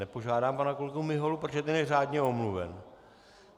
Nepožádám pana kolegu Miholu, protože ten je řádně omluven.